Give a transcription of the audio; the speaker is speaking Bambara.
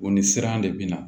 O ni siran de bi na